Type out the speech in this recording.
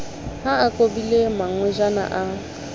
ha a kobile mangwejana a